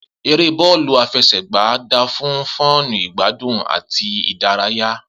Eré bọọlu afesegba da fún fún igbadun àti ìdárayá